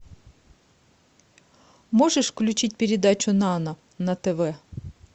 можешь включить передачу нано на тв